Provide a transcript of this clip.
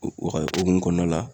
o hokumu kɔnɔna la